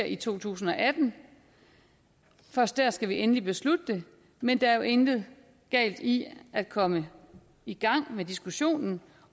i to tusind og atten først der skal vi endelig beslutte det men der er jo intet galt i at komme i gang med diskussionen